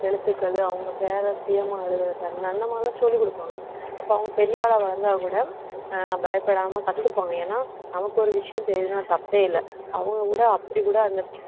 எழுத்துக்கள் அவங்க பேர சுயமா எழுதவெக்கறது அந்த மாதிரி எல்லாம் சொல்லிக் கொடுப்பாங்க அப்ப அவங்க பெரிய ஆளா வளர்ந்தா கூட அஹ் பயப்படாம கத்துப்பாங்க ஏன்னா நமக்கு ஒரு விஷயம் தெரியுதுன்னா தப்பே இல்லை அவங்க கூட அப்படி கூட அந்த